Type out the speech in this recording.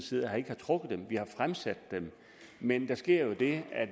side ikke har trukket dem men har fremsat dem men der sker jo det at